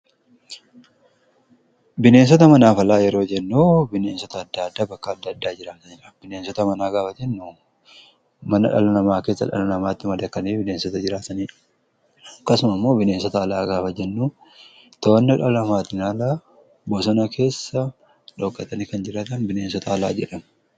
Bineensota manaa fi alaa yeroo jennuu bineensota adda addaa bakka adda addaa jiraaniidha. Bineensota manaa gaafa jennuu mana dhaala namaa keessaa dhala namaatti madaqanii bineensotaa jiraataniidha. Akkasuma immoo bineensota alaa gaafa jennuu to'annaa dhala namaatin ala bosona keessa dhookatanii kan jiraatan bineensotaa alaa jedhamu.